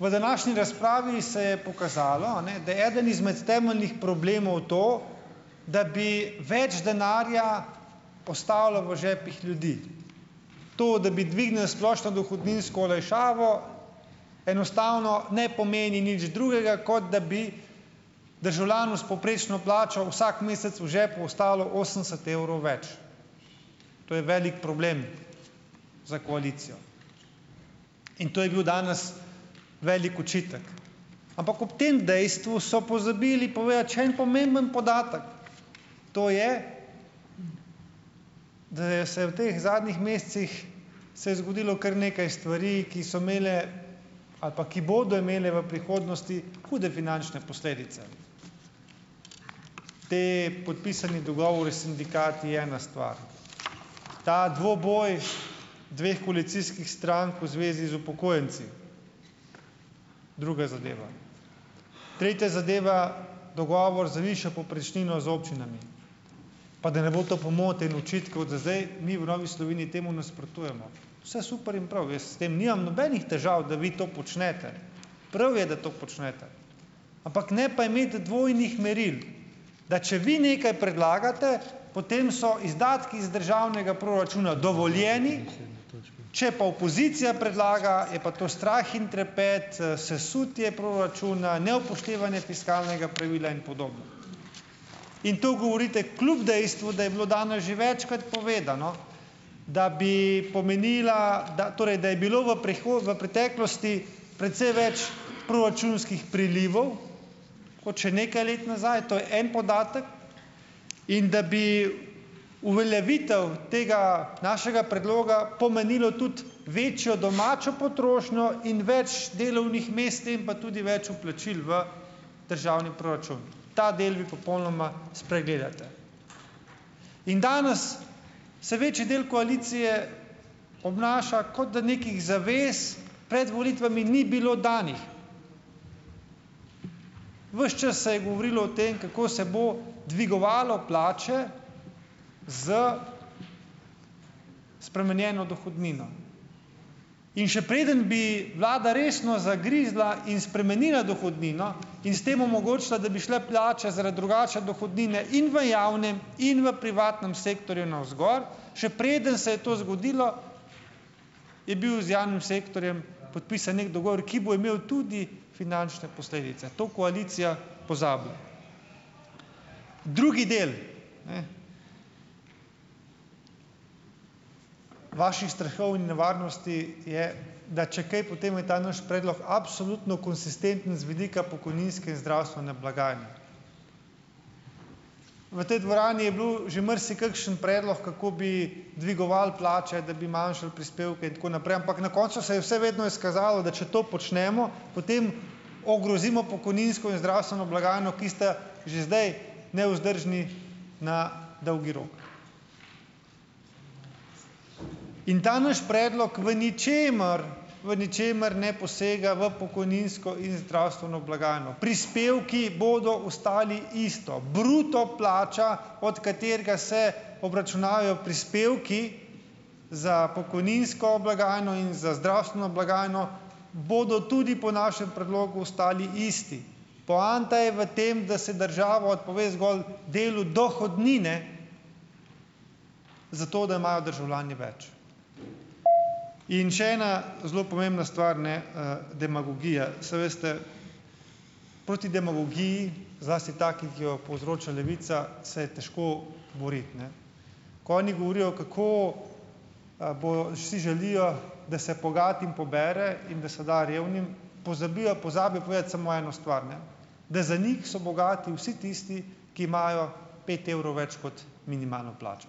V današnji razpravi se je pokazalo, a ne, da eden izmed temeljnih problemov to, da bi več denarja postalo v žepih ljudi. To, da bi dvignili splošno dohodninsko olajšavo, enostavno ne pomeni nič drugega, kot da bi državljanu s povprečno plačo vsak mesec v žepu ostalo osemdeset evrov več. To je velik problem za koalicijo. In to je bil danes velik očitek. Ampak ob tem dejstvu so pozabili povedati še en pomemben podatek, to je, da je se v teh zadnjih mesecih se je zgodilo kar nekaj stvari, ki so imele ali pa ki bodo imele v prihodnosti hude finančne posledice. Ti podpisani dogovori s sindikati, je ena stvar. Ta dvoboj dveh koalicijskih strank v zvezi z upokojenci. Druga zadeva. Tretja zadeva, dogovor za višjo povprečnino z občinami. Pa da ne bo to pomote in očitkov, da zdaj mi v Novi Sloveniji temu nasprotujemo. Vse super in prav, jaz s tem nimam nobenih težav, da vi to počnete, prav je, da to počnete, ampak ne pa imeti dvojnih meril, da če vi nekaj predlagate, potem so izdatki iz državnega proračuna dovoljeni, če pa opozicija predlaga, je pa to strah in trepet, sesutje proračuna, neupoštevanje fiskalnega pravila in podobno. In to govorite kljub dejstvu, da je bilo danes že večkrat povedano, da bi pomenila, da torej da je bilo v v preteklosti precej več proračunskih prilivov kot še nekaj let nazaj, to je en podatek. In da bi uveljavitev tega našega predloga pomenila tudi večjo domačo potrošnjo in več delovnih mest in pa tudi več vplačil v državni proračun. Ta del vi popolnoma spregledate. In danes se večji del koalicije obnaša, kot da nekih zavez pred volitvami ni bilo danih. Ves čas se je govorilo o tem, kako se bo dvigovalo plače s spremenjeno dohodnino. In še preden bi vlada resno zagrizla in spremenila dohodnino in s tem omogočila, da bi šle plače zaradi drugače dohodnine in v javnem in v privatnem sektorju navzgor, še preden se je to zgodilo, je bil z javnim sektorjem podpisan neki dogovor, ki bo imel tudi finančne posledice. To koalicija pozabila. Drugi del. Vaših strahov in nevarnosti je, da če kaj, potem je ta naš predlog absolutno konsistenten z vidika pokojninske in zdravstvene blagajne. V tej dvorani je bil že marsikakšen predlog, kako bi dvigovali plače, da bi manjšali prispevke, in tako naprej, ampak na koncu se je vse vedno izkazalo, da če to počnemo, potem ogrozimo pokojninsko in zdravstveno blagajno, ki sta že zdaj nevzdržni na dolgi rok. In ta naš predlog v ničemer, v ničemer ne posega v pokojninsko in zdravstveno blagajno. Prispevki bodo ostali isti, bruto plača od katere se obračunavajo prispevki za pokojninsko blagajno in za zdravstveno blagajno, bodo tudi po našem predlogu ostali isti. Poanta je v tem, da se država odpove zgolj delu dohodnine zato, da imajo državljani več. In še ena zelo pomembna stvar, demagogija. Saj veste, proti demagogiji, zlasti taki, ki jo povzroča Levica, se je težko boriti, ne. Ko oni govorijo, kako, si želijo, da se bogatim pobere in da se da revnim - pozabijo pozabijo povedati samo eno stvar, ne. Da za njih so bogati vsi tisti, ki imajo pet evrov več kot minimalno plačo.